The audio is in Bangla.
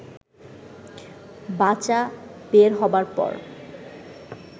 বাচা বের হবার পর